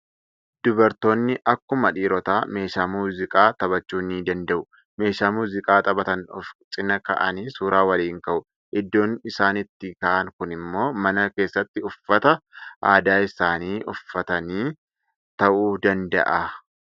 Dubartoonni akkuma dhiirotaa meeshaa muuziqaa taphachuu ni dandda'u. Meeshaa muuziqaa taphatan of cinaa kaa'anii suuraa waliin ka'u. Iddoon isaan itti ka'an kun immoo mana keessatti uffata aadaa isaanii uffatanii ta'uu danada'a.